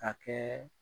Ka kɛ